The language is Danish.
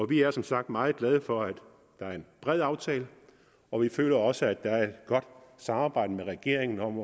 vi er som sagt meget glade for at det er en bred aftale og vi føler også at der er et godt samarbejde med regeringen om